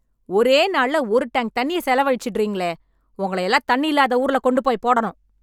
ஒரே நாள்ள ஒரு டேங்க் தண்ணிய செலவழிச்சுடறீங்களே... உங்களயெல்லாம் தண்ணியில்லாத ஊர்ல கொண்டுபோய் போடணும்.